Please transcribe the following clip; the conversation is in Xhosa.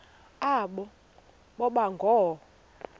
aba boba ngoo